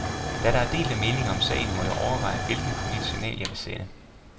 Da der er delte meninger om sagen, må jeg overveje, hvilket politisk signal, jeg vil sende.